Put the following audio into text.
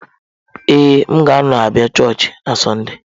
Ee, m ga-anọ abịa chọọchị na Sọnde